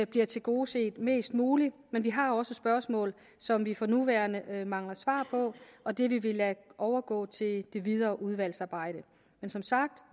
bliver tilgodeset mest muligt men vi har også spørgsmål som vi for nuværende mangler svar på og dem vil vi lade overgå til det videre udvalgsarbejde men som sagt